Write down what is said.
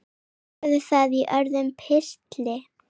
Skoðum það í öðrum pistli.